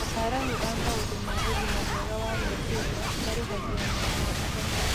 Ataramu a maũndũ ma ũgima mwega wa meciria marĩhagia na o ithaa.